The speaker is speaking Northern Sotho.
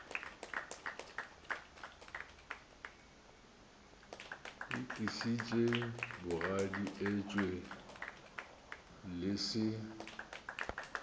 itlišitše bogadi etšwe le se